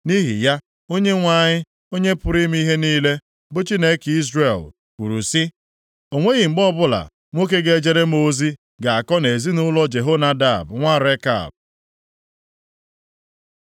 Nʼihi ya, Onyenwe anyị, Onye pụrụ ime ihe niile, bụ Chineke Izrel, kwuru sị, ‘O nweghị mgbe ọbụla nwoke ga-ejere m ozi ga-akọ nʼezinaụlọ Jehonadab nwa Rekab.’ ”